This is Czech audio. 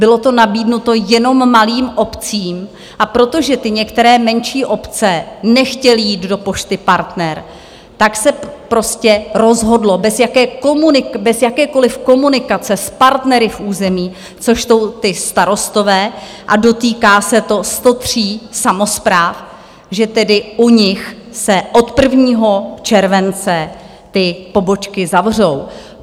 Bylo to nabídnuto jenom malým obcím, a protože ty některé menší obce nechtěly jít do Pošty Partner, tak se prostě rozhodlo bez jakékoliv komunikace s partnery v území, což jsou ti starostové, a dotýká se to 103 samospráv, že tedy u nich se od 1. července ty pobočky zavřou.